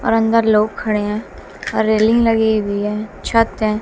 और अंदर लोग खड़े हैं रेलिंग लगी हुई है छत है।